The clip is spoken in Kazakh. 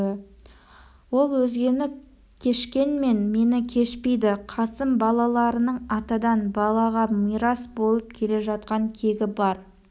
ол өзгені кешкенмен мені кешпейді қасым балаларының атадан балаға мирас болып келе жатқан кегі бар